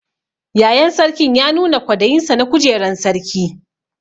Yayan Sarkin ya nuna kwadayin sa na kujeran sarki.